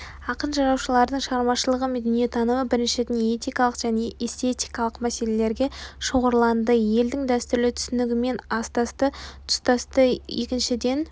ақын-жыраулардың шығармашылығы мен дүниетанымы біріншіден этикалық және эстетикалық мәселелерге шоғырланды елдің дәстүрлі түсінігімен астасты тұстасты екіншіден